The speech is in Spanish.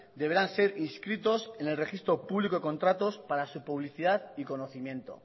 deberán ser inscritos en el registro público de contratos para su publicidad y conocimiento